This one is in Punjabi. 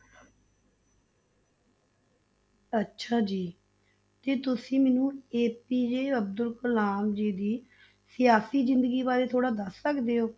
ਅੱਛਾ ਜੀ, ਕੀ ਤੁਸੀਂ ਮੈਨੂੰ APJ ਅਬਦੁਲ ਕਲਾਮ ਜੀ ਦੀ ਸਿਆਸੀ ਜ਼ਿੰਦਗੀ ਬਾਰੇ ਥੋੜ੍ਹਾ ਦੱਸ ਸਕਦੇ ਹੋ?